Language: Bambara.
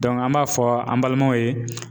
an b'a fɔ an balimaw ye